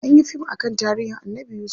Anyi yi fim akan tarihin Annabi yusuf.